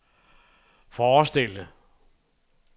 forestille